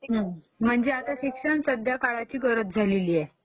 म्हणजे शिक्षण सध्या काळाची गरज झालेली आहे